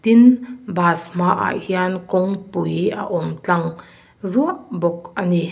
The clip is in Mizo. tin bus hmaah hian kawngpui a awm tlang ruah bawk a ni.